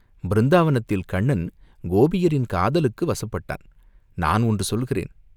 பிருந்தாவனத்தில் கண்ணன் கோபியரின் காதலுக்கு வசப்பட்டான், நான் ஒன்று சொல்கிறேன்.